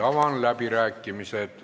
Avan läbirääkimised.